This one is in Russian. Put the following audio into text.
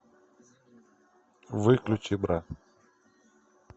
выключи бра